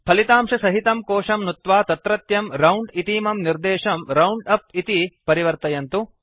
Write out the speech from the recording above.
फलितांशसहितं कोशं नुत्वा तत्रत्यं राउण्ड इतीमं निर्देशं राउण्डअप इति परिवर्तयन्तु